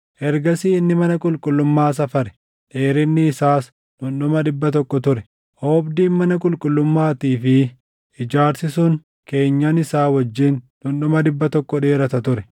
Ergasii inni mana qulqullummaa safare; dheerinni isaas dhundhuma dhibba tokko ture; oobdiin mana qulqullummaatii fi ijaarsi sun keenyan isaa wajjin dhundhuma dhibba tokko dheerata ture.